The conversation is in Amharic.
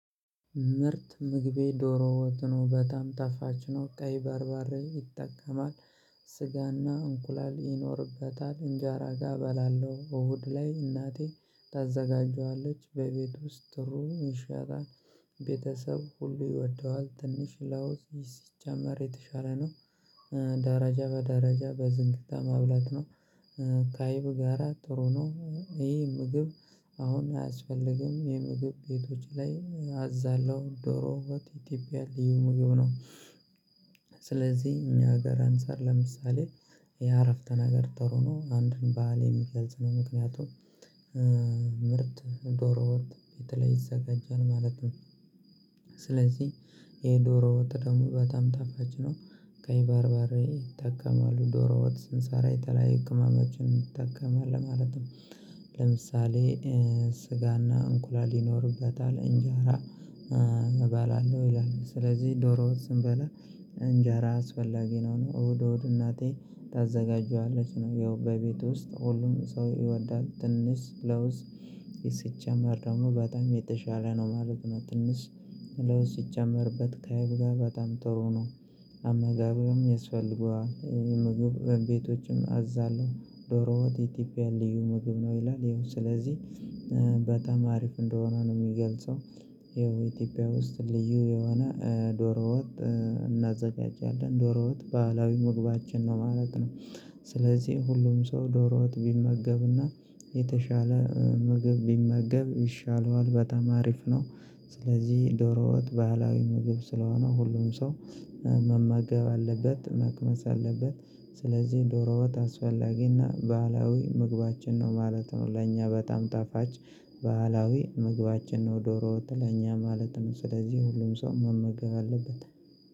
ምርጥ ምግቤ ዶሮ ወጥ በጣም ታፋች ነው ቀይ ባርባሬ ይጠቀማል። ስጋና እንቁላል ይኖርበታል እንጃራ ጋር እበላለሁ እሁድ ላይ እናቴ ታዘጋጀዋለች በቤት ውስጥ ጥሩ ይሻላል። ቤተሰብ ሁሉ ይወደዋል ትንሽ ላውስ ይህ ሲጀመር የተሻለ ነው። ደረጃ በደረጃ በዝንቅታ ማብላት ነው። ካይብ ጋራ ጥሩ ነው ይሄ ምግብ። አሁን አያስፈልግም የምግብ ቤቶች ላይ አዛለሁ ዶሮ ወጥ ኢትዮጵያ ልዩ ምግብ ነው። ስለዚህ እኛ ሀገር አንፃር ለምሳሌ የአረፍተ ነገር ጠሮ ነው። አንድን ባህል የሚገልጽ ነው። ምክንያቱም ምርጥ ዶሮ ወጥ የተለይ ይዘጋጃል ማለት ነው። ስለዚህ ይሄ ዶሮ ወጥ ደግሞ በጣም ነው። ከይባርባሬ ይጠቀማሉ ዶሮ ወጥ ስንሰራ የተለያየ ህክማዎችን ይጠቀማል ነው። ለምሳሌ ስጋና እንቁላል ይኖርበታል እንጀራ እባላለሁ ይላል ስለዚህ ዶሮ ውስጥ ስንበላ። እንጀራ አስፈላጊ ነው። እሁድ እሁድ እናቴ ታዘጋጃለች ነው ያው በቤት ውስጥ ሁሉም ሰው ይወዳል ትንሽ ለውስጥ። ሲጀመር በጣም የተሻለ ነው ማለት ነው። ትንሽ ለውስጥ ሲጀመርበት ከአይብ ጋር በጣም ጥሩ ነው። የስፈልጉ ምግብ ቤቶችም አዛለሁ ዶሮውት ኢትዮጵያን ልዩ ምግብ ነው ይላል ይኸው ስለዚህ በጣም አሪፍ እንደሆነ ነው የሚገልጸው። ይኸው ኢትዮጵያ ውስጥ ልዩ የሆነ ዶሮ ወጥ እናዘጋጃለን ዶሮ ወጥ ባህላዊ ምግባችን ነው ማለት ነው። ስለዚህ ሁሉም ሰው ዶሮ ወጥ ቢመገብና የተሻለ ምግብ ቢመገብ ይሻለዋል በጣም አሪፍ ነው። ስለዚህ ዶሮ ወጥ ባህላዊ ምግብ ስለሆነ ሁሉም ሰው መመገብ አለበት መክመስ አለበት። ስለዚህ ዶሮ ወጥ አስፈላጊና ባህላዊ ምግባችን ነው ማለት ነው። ለእኛ በጣም ጣፋጭ ባህላዊ ምግባችን ነው ዶሮ ወት ለእኛ ማለት ነው። ስለዚህ ሁሉም ሰው መመገብ አለበት።